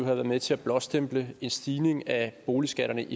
været med til at blåstemple en stigning af boligskatterne